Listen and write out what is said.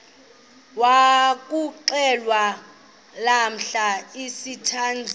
yokuxhelwa lamla sithandazel